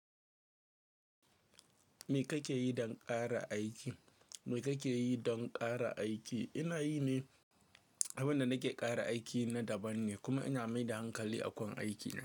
Me kake yi don ƙara aiki? Me kake yi don ƙara aiki? Ina yi ne abin da nake ƙara aiki na daban ne, kuma ina maida hankali a gun aikina.